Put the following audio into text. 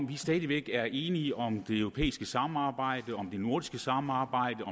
vi stadig væk er enige om det europæiske samarbejde om det nordiske samarbejde